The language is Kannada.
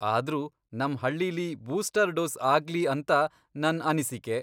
ಆದ್ರೂ ನಮ್ ಹಳ್ಳೀಲಿ ಬೂಸ್ಟರ್ ಡೋಸ್ ಆಗ್ಲಿ ಅಂತ ನನ್ ಅನಿಸಿಕೆ.